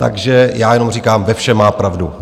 Takže já jenom říkám, ve všem má pravdu.